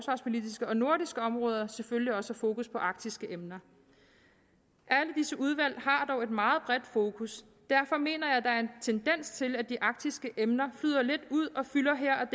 det nordiske område selvfølgelig også er fokus på arktiske emner alle disse udvalg har dog et meget bredt fokus derfor mener jeg der er en tendens til at de arktiske emner flyder lidt ud og fylder her